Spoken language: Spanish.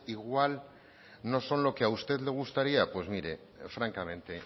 igual no son lo que a usted le gustaría pues mire francamente